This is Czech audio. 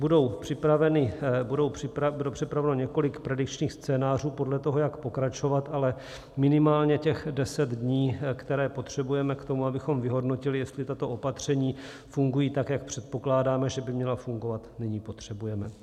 Bude připraveno několik predikčních scénářů podle toho, jak pokračovat, ale minimálně těch 10 dní, které potřebujeme k tomu, abychom vyhodnotili, jestli tato opatření fungují tak, jak předpokládáme, že by měla fungovat, nyní potřebujeme.